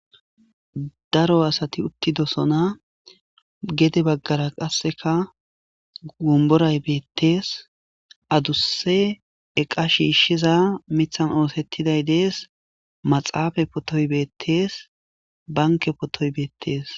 daro asati uttidosona gede baggara qasseka gomboray beettees adusse eqa shiishshiza mithan oosettiday dees maxaafa potoy beettees banke potoy beettees